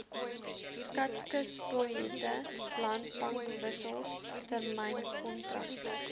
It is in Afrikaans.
skatkisbiljette landbankwissels termynkontrakte